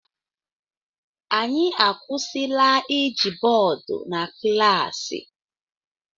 Anyị akwụsịla iji bọọdụ na klaasị